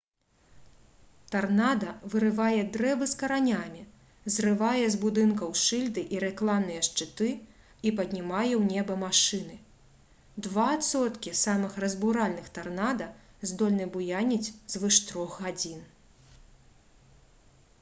тарнада вырывае дрэвы з каранямі зрывае з будынкаў шыльды і рэкламныя шчыты і паднімае ў неба машыны два адсоткі самых разбуральных тарнада здольны буяніць звыш трох гадзін